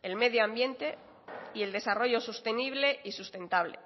el medio ambiente y el desarrollo sostenible y sustentable